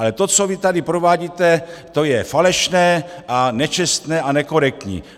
Ale to, co vy tady provádíte, to je falešné a nečestné a nekorektní!